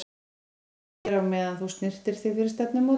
Ég bíð þá bara hér á meðan þú snyrtir þig fyrir stefnumótið.